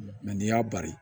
Mɛ n'i y'a bari